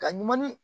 Ka ɲuman ni